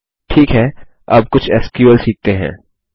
ठीक है अब कुछ एसक्यूएल सीखते हैं